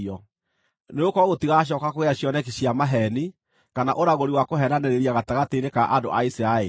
Nĩgũkorwo gũtigacooka kũgĩa cioneki cia maheeni, kana ũragũri wa kũheenanĩrĩria gatagatĩ-inĩ ka andũ a Isiraeli.